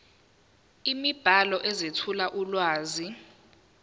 imibhalo ezethula ulwazi